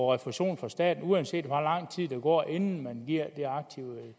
refusion fra staten uanset hvor lang tid der går inden man giver det aktive